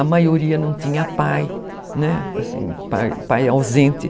A maioria não tinha pai, né, assim, pai pai ausente.